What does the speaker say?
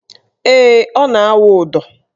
Ee, ọ na - awụ ụdọ